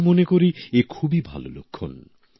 আমি মনে করি এ খুবই ভালো লক্ষণ